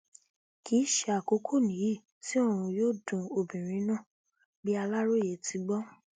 kì í ṣe àkókò nìyí tí ọrun yóò dun obìnrin náà bí aláròyé ti gbó